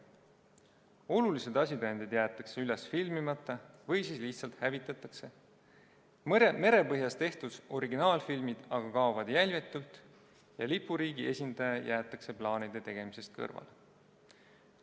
Olulised asitõendid jäetakse üles filmimata või siis lihtsalt hävitatakse, merepõhjas tehtud originaalfilmid aga kaovad jäljetult ja lipuriigi esindaja jäetakse plaanide tegemisest kõrvale.